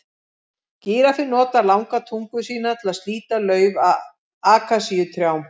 Gíraffinn notar langa tungu sína til að slíta lauf af akasíutrjám.